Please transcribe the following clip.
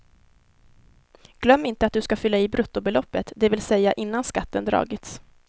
Glöm inte att du ska fylla i bruttobeloppen, det vill säga innan skatten dragits.